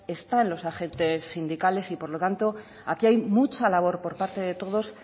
están los agentes sindicales y por lo tanto aquí hay mucha labor por parte de todos